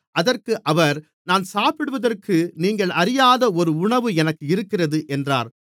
அதற்கு அவர் நான் சாப்பிடுவதற்கு நீங்கள் அறியாத ஒரு உணவு எனக்கு இருக்கிறது என்றார்